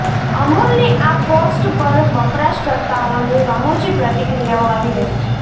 અમૂલની આ પોસ્ટ પર વપરાશકર્તાઓની રમૂજી પ્રતિક્રિયાઓ આવી રહી છે